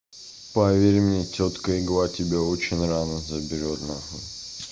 поверь мне тётка игла тебя очень рано заберёт на хуй